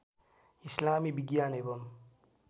इस्लामी विज्ञान एवं